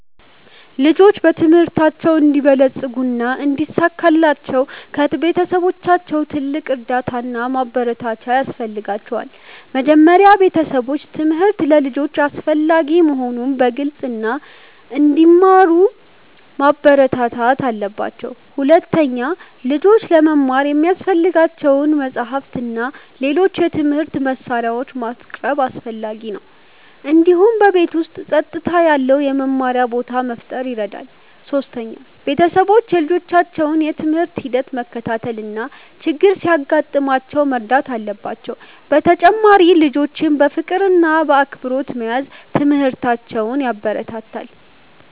ልጆች በትምህርታቸው እንዲበለጽጉ እና እንዲሳካላቸው ከቤተሰቦቻቸው ትልቅ እርዳታ እና ማበረታቻ ያስፈልጋቸዋል። መጀመሪያ ቤተሰቦች ትምህርት ለልጆች አስፈላጊ መሆኑን መግለጽ እና እንዲማሩ ማበረታታት አለባቸው። ሁለተኛ፣ ልጆች ለመማር የሚያስፈልጋቸውን መጻሕፍት እና ሌሎች የትምህርት መሳሪያዎች ማቅረብ አስፈላጊ ነው። እንዲሁም በቤት ውስጥ ጸጥታ ያለው የመማሪያ ቦታ መፍጠር ይረዳል። ሶስተኛ፣ ቤተሰቦች የልጆቻቸውን የትምህርት ሂደት መከታተል እና ችግር ሲያጋጥማቸው መርዳት አለባቸው። በተጨማሪም ልጆችን በፍቅር እና በአክብሮት መያዝ ትምህርታቸውን ያበረታታል።